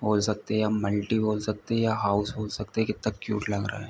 बोल सकते या मल्टी बोल सकते या हाउस बोल सकते कितना क्यूट लग रहा है।